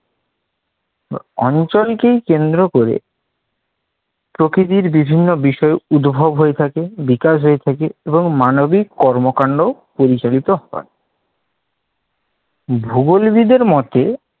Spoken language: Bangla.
অঞ্চলকে কেন্দ্র করে প্রকৃতির বিভিন্ন বিষয় উদ্ভব হয়ে থাকে, বিকাশ হয়ে থাকে এবং মানবিক কর্মকান্ডও পরিচালিত হয়। ভূগোলবিদদের মতে